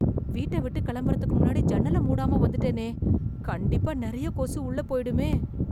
வீட்ட விட்டு கிளம்புறதுக்கு முன்னாடி ஜன்னல மூடாம வந்துட்டேனே! கண்டிப்பா நிறைய கொசு உள்ளே போயிடுமே!